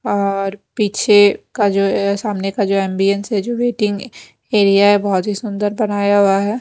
और पीछे का जो सामने का जो एंबिएंस है जो वेटिंग एरिया है बहुत ही सुंदर बनाया हुआ है।